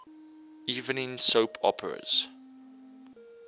evening soap operas